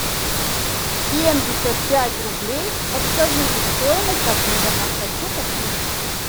семьдесят пять рублей подскажите стоимость обмена хочу купить